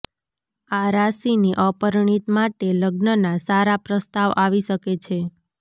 આ રાશિ ની અપરિણીત માટે લગ્ન ના સારા પ્રસ્તાવ આવી શકે છે